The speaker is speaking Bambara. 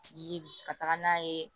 Tigi ye ka taga n'a ye